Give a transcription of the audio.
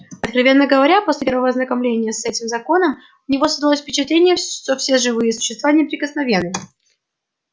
откровенно говоря после первого ознакомления с этим законом у него создалось впечатление что все живые существа неприкосновенны